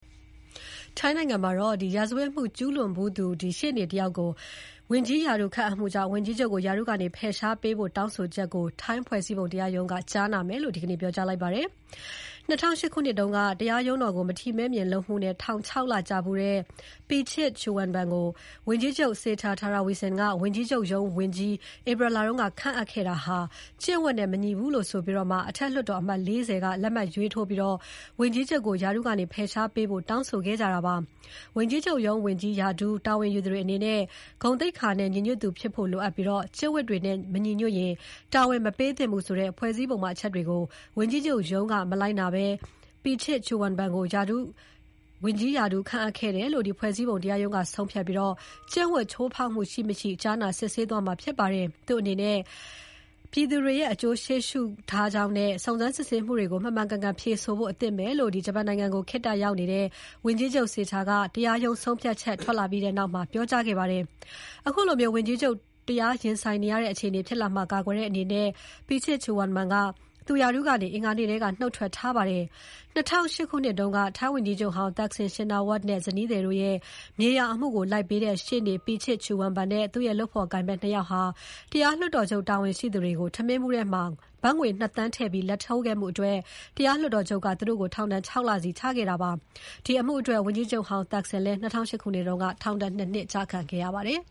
ထိုင်းနိုင်ငံမှာ ရာဇဝတ်မှုကျူးလွန်ဖူးသူ ရှေ့နေကို ဝန်ကြီးချုပ်ရုံး ဝန်ကြီးရာထူးခန့်အပ်မှုကြောင့် ဝန်ကြီးချုပ်ကို ရာထူးကနေ ဖယ်ရှားပေးဖို့ တောင်းဆိုချက်ကို ထိုင်းဖွဲ့စည်းပုံတရားရုံးက ကြားနာဖို့လက်ခံလိုက်ပါတယ်။ ၂၀၀၈ ခုနှစ်က တရားရုံးတော်ကို မထီမဲ့မြင်လုပ်မှုနဲ့ ထောင် ၆ လကျဖူးတဲ့ Pichit Chuenban ကို ဝန်ကြီးချုပ် Srettha Thavisin က ဝန်ကြီးချုပ်ရုံး ဝန်ကြီး ဧပြီလက ခန့်အပ်ခဲ့တာဟာ ကျင့်ဝတ်နဲ့ မညီဘူးလို့ဆိုပြီး အထက်လွှတ်တော်အမတ် ၄၀ က လက်မှတ်ရေးထိုးပြီး ဝန်ကြီးချုပ်ကို ရာထူးကနေ ဖယ်ရှားပေးဖို့ တောင်းဆိုခဲ့ကြတာပါ။ ဝန်ကြီးချုပ်ရုံးဝန်ကြီး ရာထူး တာဝန်ယူသူတွေအနေနဲ့ ဂုဏ်သိက္ခာနဲ့ ညီညွတ်သူဖြစ်ဖို့ လိုအပ်ပြီး ကျင့်ဝတ်တွေနဲ့မညီညွတ်ရင် တာဝန်မပေးသင့်ဘူးဆိုတဲ့ ဖွဲ့စည်းပုံပါအချက်တွေကို ဝန်ကြီးချုပ်ရုံးက မလိုက်နာဘဲ Pichit Chuenban ကို ဝန်ကြီးရာထူး ခန့်အပ်ခဲ့တယ်လို့ ဖွဲ့စည်းပုံတရားရုံးက ဆုံးဖြတ်ပြီး ကျင့်ဝတ်ချိုးဖောက်မှု ရှိ မရှိ ကြားနာ စစ်ဆေးသွားမှာဖြစ်ပါတယ်။ သူ့အနေနဲ့ ထိုင်းပြည်သူတွေရဲ့ အကျိုးစီးပွားကို ရှေ့ရှုထားကြောင်းနဲ့ စုံစမ်းစစ်ဆေးမှုတွေကို မှန်ကန်ကန် ဖြေဆိုဖို့ အသင့်ပဲလို့ ဂျပန်နိုင်ငံကို ခေတ္တရောက်နေတဲ့ ဝန်ကြီးချုပ် Srettha ကတရားရုံး ဆုံးဖြတ်ချက်ထွက်လာပြီးနောက်မှာ ပြောကြားခဲ့ပါတယ်။ အခုလို ဝန်ကြီးချုပ် တရားရင်ဆိုင်ရတဲ့ အခြေအနေဖြစ်လာမှာကာကွယ်တဲ့အနေနဲ့ Pichit Chuenban က သူ့ရာထူးကနေ အင်္ဂါနေ့ကတည်းက နှုတ်ထွက်ထားပါတယ်။ ၂၀၀၈ ခုနှစ်တုန်းက ထိုင်းဝန်ကြီးချုပ်ဟောင်း Thaksin Shinawatra နဲ့သူ့ဇနီးတို့ရဲ့ မြေယာအမှုကို လိုက်ပေးတဲ့ ရှေ့နေ Pichit Chuenban နဲ့ သူ့ရဲ့လုပ်ဖော်ကိုင်ဖက် ၂ ယောက်ဟာ တရားလွှတ်တော်ချုပ်တာဝန်ရှိသူတွေကို ထမင်းဘူးထဲ ဘတ်ငွေ ၂ သန်းထည့်ပြီး လာဒ်ထိုးခဲ့မှုအတွက် တရားလွှတ်တော်ချုပ်က သူတို့ကို ထောင်ဒဏ် ၆ လစီ ချခဲ့တာဖြစ်ပါတယ်။ အဲဒီအမှုအတွက် ဝန်ကြီးချုပ်ဟောင်း Thaksin ၂၀၀၈ ခုနှစ်က ထောင်ဒဏ် ၂ နှစ်ချခံခဲ့ရပါတယ်